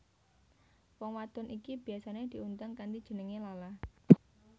Wong wadon iki biyasa diundang kanthi jeneng Lala